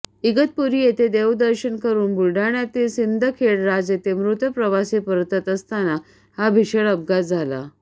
इगतपुरी येथे देवदर्शन करून बुलडाण्यातील सिंदखेडराज येथे मृत प्रवासी परतत असताना हा भीषण अपघात झाला